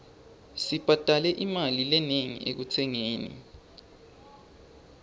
sibhadale imali lenengi ekutsengeni